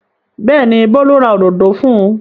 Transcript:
Bẹ́ẹ̀ ni, Bólú ra òdòdó fún un.